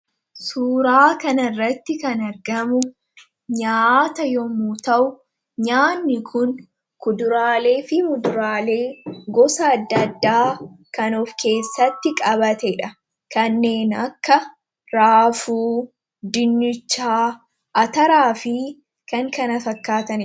Suuraa kana irratti kan argamu nyaata yommuu ta'u nyaanni kun kuduraalee fi muduraalee gosa adda addaa kan of keessatti qabatee dha. Kanneen akka raafuu, dinnichaa, ataraa fi kan kana fakkaatanidha.